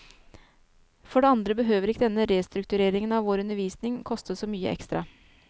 For det andre behøver ikke denne restruktureringen av vår undervisning koste så mye ekstra.